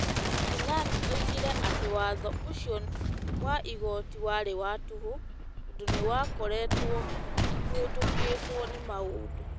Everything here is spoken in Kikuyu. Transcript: Keynan oigire atĩ watho ũcio wa igooti warĩ wa tũhũ tondũ nĩ wakoretwo ũhĩtũkĩtũo nĩ maũndũ.